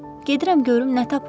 Gedirəm görüm nə tapıram.